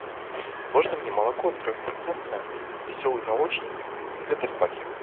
можно мне молоко трехпроцентное веселый молочник в тетрапаке